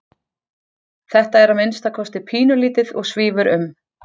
Þetta er að minnsta kosti pínulítið og svífur um.